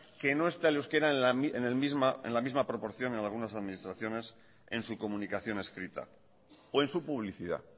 que no está el euskera en la misma proporción en algunas administraciones en su comunicación escrita o en su publicidad